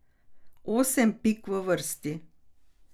Osem pik v vrsti.